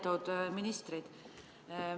Lugupeetud ministrid!